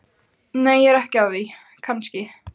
Nei, ég er ekki að því kannski.